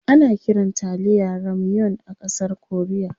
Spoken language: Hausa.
Ana kiran taliya "ramyeon" a ƙasar korea.